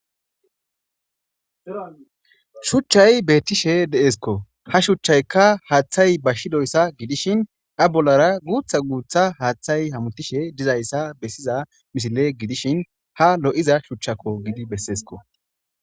Shuchchay beettishe deesko ha shuchchaykka haaththay ba shidoyssa gidishin ya bollara guutha guutha haaththay hamutishe dizayssa bessiza misile gidishin ha lo7iza shuchchakko gidi besseesko